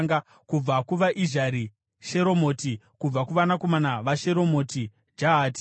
Kubva kuvaIzhari: Sheromoti; kubva kuvanakomana vaSheromoti: Jahati.